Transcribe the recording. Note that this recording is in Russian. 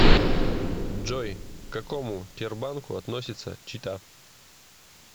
джой к какому тербанку относится чита